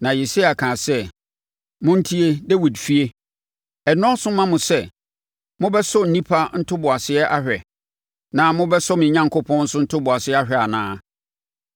Na Yesaia kaa sɛ, “Montie Dawid fie! Ɛnnɔɔso mma mo sɛ mobɛsɔ nnipa ntoboaseɛ ahwɛ? Na mobɛsɔ me Onyankopɔn nso ntoboaseɛ ahwɛ anaa?